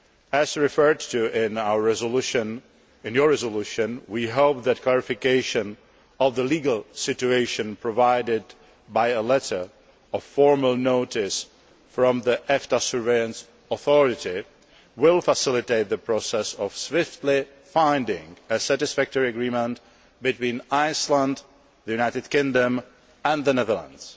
As referred to in your resolution, we hope that clarification of the legal situation provided by a letter of formal notice from the EFTA Surveillance Authority will facilitate the process of swiftly finding a satisfactory agreement between Iceland, the United Kingdom and the Netherlands.